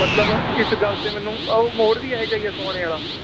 ਮਤਲਬ ਇਸ ਗੱਲ ਤੇ ਮੈਨੂੰ ਉਹ ਮੋੜ ਵੀ ਇਹ ਜਿਹਾ ਹੀ ਏ ਸੋਹਾਣੇ ਵਾਲਾ